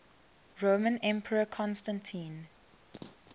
roman emperor constantine